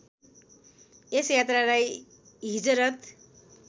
यस यात्रालाई हिजरत